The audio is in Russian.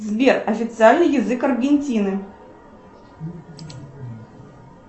сбер официальный язык аргентины